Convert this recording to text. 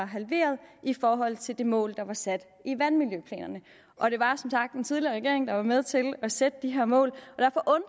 halveret i forhold til det mål der var sat i vandmiljøplanerne og det var som sagt den tidligere regering der var med til at sætte de her mål